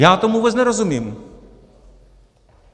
Já tomu vůbec nerozumím.